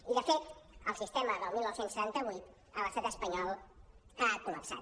i de fet el sistema del dinou setanta vuit a l’estat espanyol ha col·lapsat